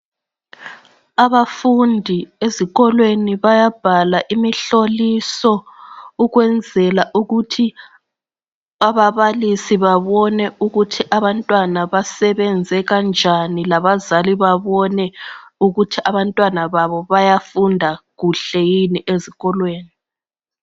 Abafundi ezikolweni bayabhala imihloliso ukwenzela ukuthi ababalisi babone ukuthi abantwana basebenze kanjani labazali babone ukuthi abantwana babo bayafunda kuhle yini ezikolweni